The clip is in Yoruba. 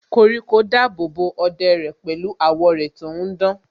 Koríko dábòbò ọ̀dẹ̀ pẹ̀lú àwọ́ rẹ̀ tò ń dán